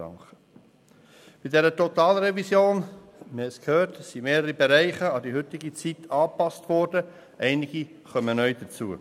Bei der Totalrevision – wir haben es gehört – wurden mehrere Bereiche an die heutige Zeit angepasst, einige kommen neu hinzu.